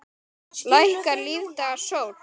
Lækkar lífdaga sól.